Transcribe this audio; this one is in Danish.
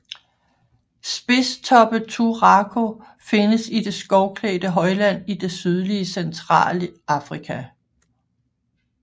Spidstoppet turako findes i det skovklædte højland i det sydlige centrale Afrika